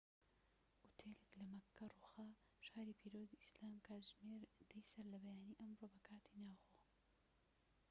ئوتێلێك لە مەککە ڕووخا، شاری پیرۆزی ئیسلام کاتژمێر ١٠ی سەرلەبەیانی ئەمڕۆ بە کاتی ناوخۆ